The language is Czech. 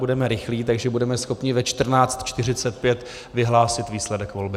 Budeme rychlí, takže budeme schopni ve 14.45 vyhlásit výsledek volby.